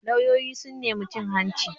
Lauyoyin sun nemi cin hanci